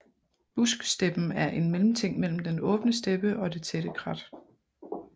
Busksteppen er en mellemting mellem den åbne steppe og det tætte krat